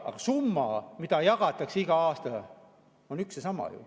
Aga summa, mida jagatakse iga aastaga, on üks ja sama ju.